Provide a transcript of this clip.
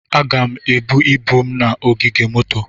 Aga m ebu ibu m na ogige moto.